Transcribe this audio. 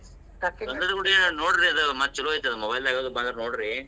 ಗಂಧದಗುಡಿ ನೋಡ್ರಿ ಆದ್ ಮತ್ ಚುಲೊ ಐತ್ರಿ ಆದ್ mobile ಅದು ಬಂದ್ರ್ ನೋಡ್ರಿ.